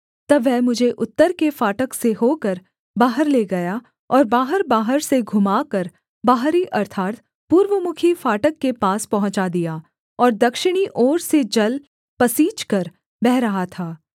तब वह मुझे उत्तर के फाटक से होकर बाहर ले गया और बाहरबाहर से घुमाकर बाहरी अर्थात् पूर्वमुखी फाटक के पास पहुँचा दिया और दक्षिणी ओर से जल पसीजकर बह रहा था